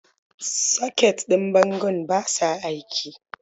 Soket ɗin bangon ba sa aiki.